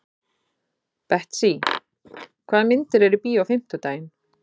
Betsý, hvaða myndir eru í bíó á fimmtudaginn?